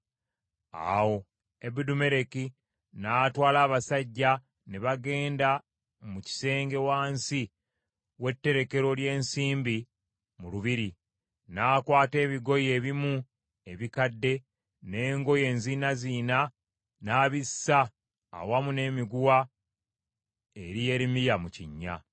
Awo Ebedumeleki n’atwala abasajja ne bagenda mu kisenge wansi w’etterekero ly’ensimbi mu lubiri. Nakwata ebigoye ebimu ebikadde n’engoye enziinaziina n’abissa awamu n’emiguwa eri Yeremiya mu kinnya.